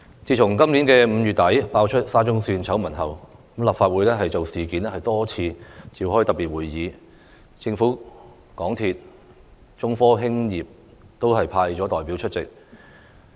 自今年5月底爆出沙中線醜聞後，立法會就事件多次召開特別會議，政府、港鐵公司和中科興業有限公司都有派代表出席。